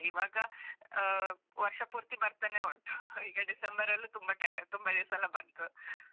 ಈವಾಗ ಆ, ವರ್ಷಪೂರ್ತಿ ಬರ್ತಾನೇ ಉಂಟ್ , December ರಲ್ಲೂ ತುಂಬ time , ತುಂಬ ದಿವ್ಸಯೆಲ್ಲ ಬಂತು.